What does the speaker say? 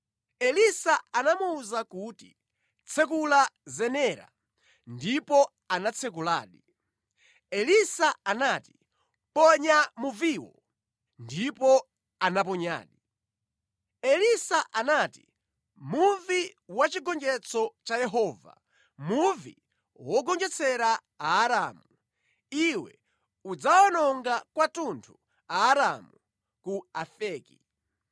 Elisa anamuwuza kuti, “Tsekula zenera.” Ndipo anatsekuladi. Elisa anati, “Ponya muviwo!” Ndipo anaponyadi. Elisa anati, “Muvi wa chigonjetso cha Yehova, muvi wogonjetsera Aaramu! Iwe udzawawononga kwathunthu Aaramu ku Afeki.”